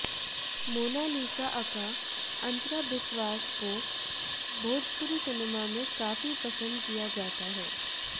Mona Lisa aka Antara Biswas को Bhojpuri cinema में काफी पसंद किया जाता है